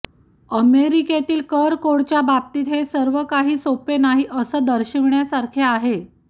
अमेरिकेतील कर कोडच्या बाबतीत हे सर्व काही सोपे नाही हे दर्शविण्यासारखे आहे